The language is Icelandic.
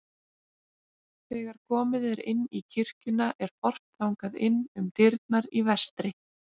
Þegar komið er inn í kirkjuna er horft þangað inn um dyrnar í vestri.